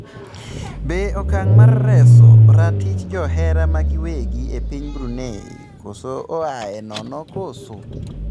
Be okang' mar reso ratich johera magiwegi epiny Brunei koso oae nono koso?